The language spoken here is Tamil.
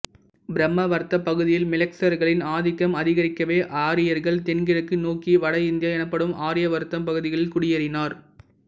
பிரம்மவர்த்தப் பகுதியில் மிலேச்சர்களின் ஆதிக்கம் அதிகரிக்கவே ஆரியர்கள் தென்கிழக்கு நோக்கி வட இந்தியா எனப்படும் ஆரியவர்த்தம் பகுதிகளில் குடியேறினர்